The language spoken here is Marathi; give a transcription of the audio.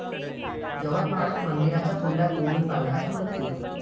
यवतमाळात मंदिराच्या कुंडात बुडून बालकाचा मृत्यू!